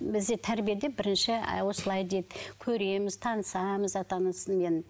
бізде тәрбиеде бірінші ы осылай дейді көреміз танысамыз ата анасымен